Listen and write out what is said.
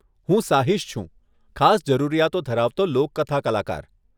હું સાહીશ છું, ખાસ જરૂરિયાતો ધરાવતો લોકકથા કલાકાર.